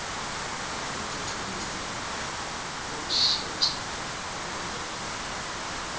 ukuthuthukisa nokushintsha ubuwena